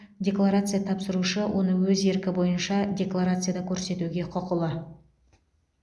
декларация тапсырушы оны өз еркі бойынша декларацияда көрсетуге құқылы